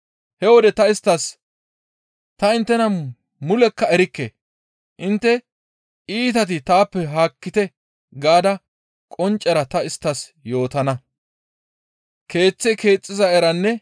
He wode ta isttas, ‹Ta inttena mulekka erikke! Intte iitati taappe haakkite› gaada qonccera ta isttas yootana.